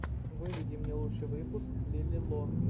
выведи мне лучший выпуск лили ло